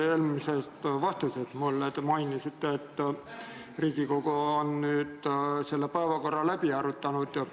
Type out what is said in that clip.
Eelmises vastuses mulle te mainisite, et Riigikogu on päevakorra läbi arutanud.